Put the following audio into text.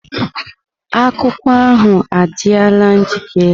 Akwụkwọ ahu adịla njikere.